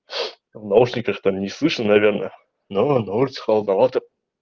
в наушниках там не слышно наверное но на улице холодновато